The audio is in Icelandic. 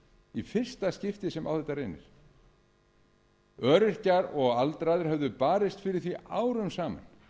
í fyrsta skipti sem á þetta reynir öryrkjar og aldraðir höfðu barist fyrir því árum saman